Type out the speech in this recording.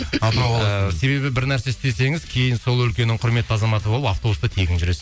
себебі бір нәрсе істесеңіз кейін сол өлкенің құрметті азаматы болып автобуста тегін жүресіз